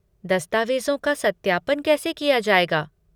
दस्तावेज़ों का सत्यापन कैसे किया जाएगा?